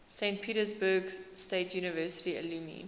saint petersburg state university alumni